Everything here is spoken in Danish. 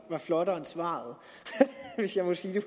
var flottere end svaret hvis jeg må sige det